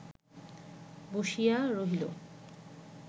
বসিয়া রহিল